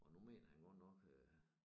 Og nu mener han godt nok øh